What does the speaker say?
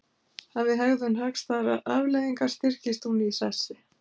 Hafi hegðun hagstæðar afleiðingar styrkist hún í sessi.